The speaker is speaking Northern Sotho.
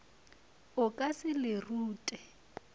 o ka se le rute